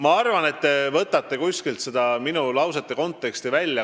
Ma arvan, et te võtsite selle minu lause kontekstist välja.